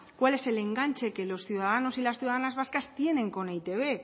cuál es el enganche que los ciudadanos y las ciudadanas vascas tienen con eitb